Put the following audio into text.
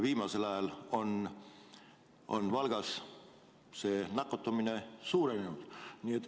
Viimasel ajal on Valgas nakatumine suurenenud.